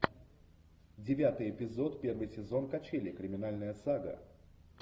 девятый эпизод первый сезон качели криминальная сага